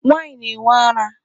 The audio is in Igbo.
Nwaanyị na-enwe ara.